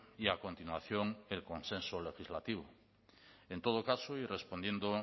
y a continuación el consenso legislativo en todo caso y respondiendo